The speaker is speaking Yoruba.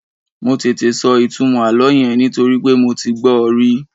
Mo tètè sọ ìtumọ̀ àlọ́ yẹn nítorí pé mo ti gbọ́ ọ rí